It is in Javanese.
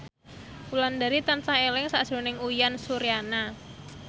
Wulandari tansah eling sakjroning Uyan Suryana